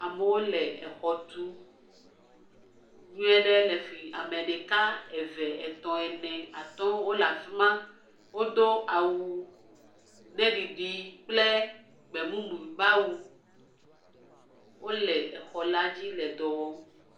Amewo le exɔ tum nyuie ɖe le fi. Ame ɖeka eve, etɔ̃, ene, atɔ̃ wole afi ma. Wodo awu ɖe ɖiɖi kple gbemumu be awu. Wole exɔ la dzi le dɔ wɔ.